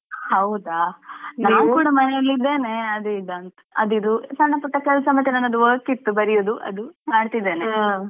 ಹೌದಾ ನಾನ್ ಕೂಡ ಮನೇಲಿದ್ದೇನೆ ಅದು ಇದು ಅಂತ್ ಅದು ಇದು ಸಣ್ಣ ಪುಟ್ಟ ಕೆಲ್ಸ ಮತ್ತೆ ನನ್ನದು work ಇತ್ತು ಬರಿಯುದು ಅದು ಮಾಡ್ತಿದೇನೆ .